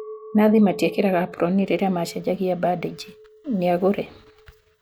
Nathi matekiraga aproni rĩrĩa macejagia bandiji ,niagũre